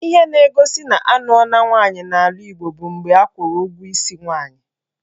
Ihe na-egosi na anụọla nwaanyị n'ala Igbo bụ mgbe akwụrụ ụgwọ isi nwaanyị